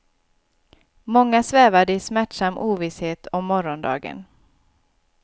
Många svävade i smärtsam ovisshet om morgondagen.